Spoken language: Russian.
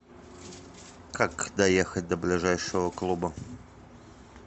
как доехать до ближайшего клуба